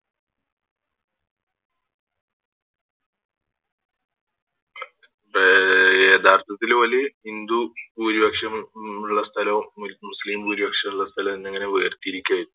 ആഹ് യഥാർത്ഥത്തിൽ ഓല് ഹിന്ദു ഭൂരിപക്ഷമ് മുള്ള സ്ഥലോ ഒരിക്ക് മുസ്ലിം ഭൂരിപക്ഷം ഉള്ള സ്ഥലം എന്നിങ്ങനെ വേർതിരിക്കയിരുന്നു